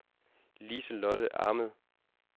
Lise-Lotte Ahmed